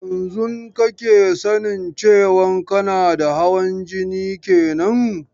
Yanzun kake sanin cewan kana da hawan jini kenan?